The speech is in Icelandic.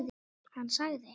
Hann sagði: